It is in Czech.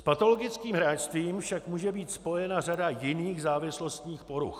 S patologickým hráčstvím však může být spojena řada jiných závislostních poruch.